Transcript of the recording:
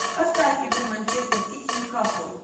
поставь игру манчестер сити ньюкасл